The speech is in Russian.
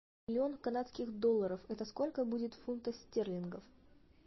миллион канадских долларов это сколько будет в фунтах стерлингов